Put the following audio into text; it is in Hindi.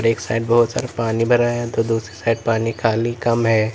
एक साइड बहुत सारा पानी भरा है तो दूसरे साइड पानी खाली काम है।